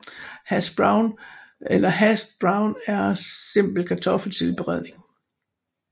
Hash brown eller hashed brown er en simpel kartoffeltilberedning